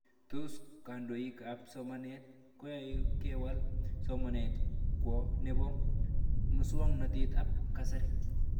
Tos kandoik ab somanet koyani kewal somanet kwo nepo muswog'natet ab kasari